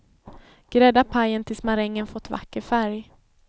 Grädda pajen tills marängen fått vacker färg.